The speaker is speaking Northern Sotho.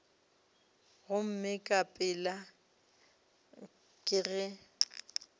gomme ka pela ke ge